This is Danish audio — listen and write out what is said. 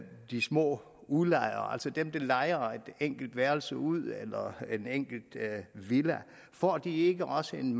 de små udlejere altså dem der lejer et enkelt værelse ud eller en enkelt villa får de ikke også en